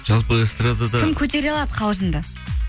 жалпы эстрадада кім көтере алады қалжыңды